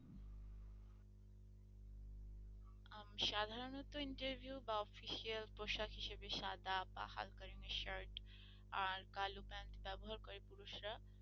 আহ সাধারণত interview বা official পোশাক হিসেবে সাদা বা হালকা রঙের shirt আর কালো pant ব্যবহার করে পুরুষরা।